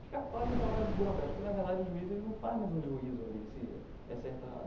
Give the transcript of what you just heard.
Fica quase um trabalho burocrático, porque, na verdade, o juiz ele não faz mais um juízo ali, se é certo ou errado.